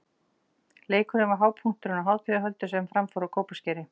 Leikurinn var hápunkturinn á hátíðarhöldum sem fram fóru á Kópaskeri.